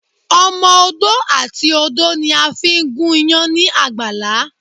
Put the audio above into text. Ọmọ odó àti odó ni a fi ń gúnyán ní àgbàlá.